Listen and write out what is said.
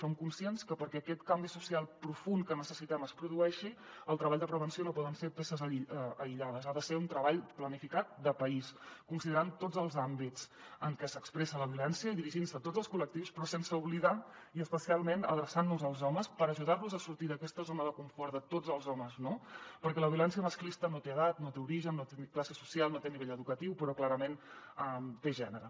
som conscients que perquè aquest canvi social profund que necessitem es produeixi el treball de prevenció no poden ser peces aïllades ha de ser un treball planificat de país considerant tots els àmbits en què s’expressa la violència i dirigint se a tots els col·lectius però sense oblidar i especialment adreçant nos als homes per ajudar los a sortir d’aquesta zona de confort de tots els homes no perquè la violència masclista no té edat no té origen no té classe social no té nivell educatiu però clarament té gènere